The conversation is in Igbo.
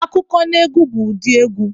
Akụkọnaegwu bụ ụdị egwu